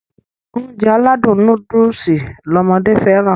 Ounjẹ aládùn nóódùsì lọmọdé fẹ́ràn